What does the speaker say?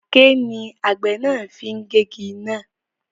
Aké ni àgbẹ̀ náà fi gé igi náà